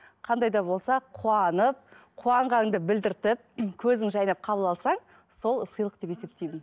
қандай да болса қуанып қуанғаныңды білдіртіп көзің жайнап қабыл алсаң сол сыйлық деп есептеймін